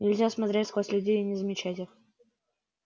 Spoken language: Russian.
нельзя смотреть сквозь людей и не замечать их